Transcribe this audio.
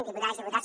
diputades diputats